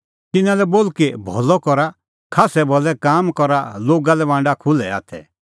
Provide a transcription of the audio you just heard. तिन्नां लै बोल कि भलअ करा खास्सै भलै काम करा लोगा लै बांडा खुल्है हाथै